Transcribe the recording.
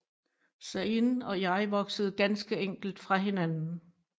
Zayn og jeg voksede ganske enkelt fra hinanden